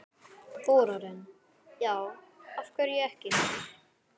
Þórarinn: Já, af hverju ekki?